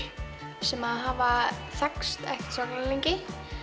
sem hafa þekkst ekkert svakalega lengi